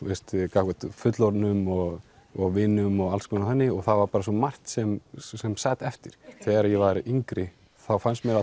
gagnvart fullorðnum og og vinum og alls konar þannig og það var bara svo margt sem sem sat eftir þegar ég var yngri þá fannst mér